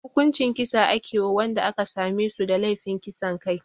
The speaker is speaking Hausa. Hukuncin kisa ake wa wanda aka same su da laifin kisan kai